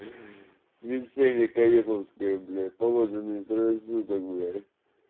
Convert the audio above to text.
евгения каневская блять положение трое суток блять